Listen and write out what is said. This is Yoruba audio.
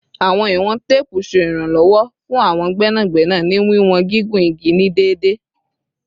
Awọn iwọn teepu ṣe iranlọwọ fun awọn gbẹnagbẹna ni wiwọn gigun igi ni deede